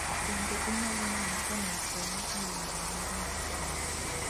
Bende inyalo neno ka mil polo olworo ler mar taya